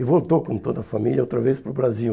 E voltou, como toda família, outra vez para o Brasil.